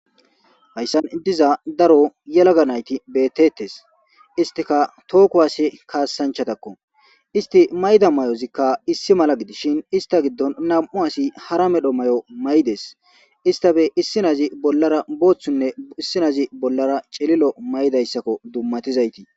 Hayssan diza daro yalaga nayti beettettes istika tooku hase kaassanchatakko isti mayda may'ozikka issi mala gidishin ista giddon nam'u asi hara medho may'o maydes istafe issinazi bollara booththunne issinazi bollara celilo maydayssakko dummatizayti.